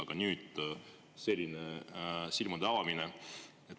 Aga nüüd on selline silmade avanemine.